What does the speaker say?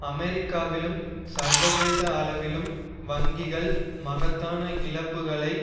அமெரிக்காவிலும் சர்வதேச அளவிலும் வங்கிகள் மகத்தான இழப்புக்களை